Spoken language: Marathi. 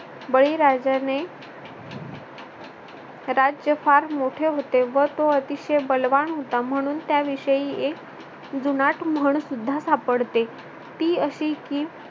बळीराजाने राज्य फार मोठे होते व तो अतिशय बलवान होता म्हणून त्याविषयी जुनाट म्हण सुद्धा सापडते ती अशी की